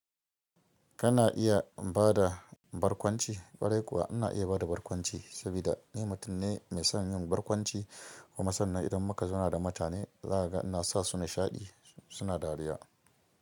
Kana iya ba da barkwanci, ƙwarai kuwa ina iya ba da barkwanci saboda ni mutum ne mai son yin barkwanci kuma sannan idan muka zauna da mutane, zakaga ina sa su nishaɗi suna dariya.